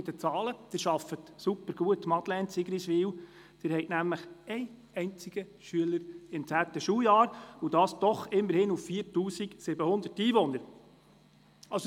Madeleine Amstutz, Sie arbeiten sehr gut in Sigriswil, denn Sie haben lediglich einen einzigen Schüler im zehnten Schuljahr, und das doch immerhin auf 4700 Einwohner.